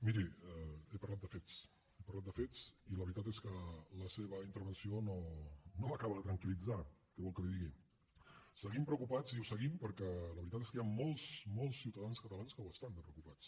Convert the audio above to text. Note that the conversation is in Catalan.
miri he parlat de fets he parlat de fets i la veritat és que la seva intervenció no m’acaba de tranquil·litzar què vol que li digui seguim preocupats i ho seguim perquè la veritat és que hi ha molts molts ciutadans catalans que ho estan de preocupats